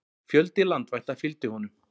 Fjöldi landvætta fylgdi honum.